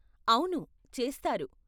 అవును, చేస్తారు.